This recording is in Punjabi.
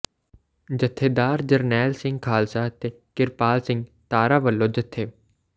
ਜਥੇਦਾਰ ਜਰਨੈਲ ਸਿੰਘ ਖ਼ਾਲਸਾ ਤੇ ਕਿਰਪਾਲ ਸਿੰਘ ਤਾਰਾ ਵੱਲੋਂ ਜਥੇ